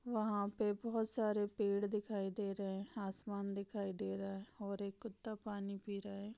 वहां पे बहोत सारे पेड़ दिखाई दे रहे हैं आसमान दिखाई दे रहा है और एक कुत्ता पानी पी रहा है।